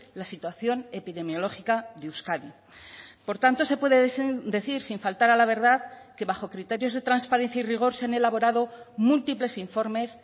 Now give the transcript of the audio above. la situación epidemiológica de euskadi por tanto se puede decir sin faltar a la verdad que bajo criterios de transparencia y rigor se han elaborado múltiples informes